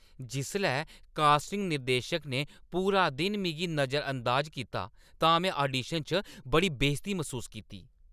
जिसलै कास्टिंग निर्देशक ने पूरा दिन मिगी नजरअंदाज कीता तां में आडीशन च बड़ी बेजती मसूस कीती।